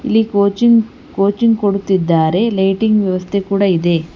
ಇಲ್ಲಿ coaching coaching ಕೊಡುತ್ತಿದ್ದಾರೆ lighting ವ್ಯವಸ್ಥೆ ಕೂಡ ಇದೆ.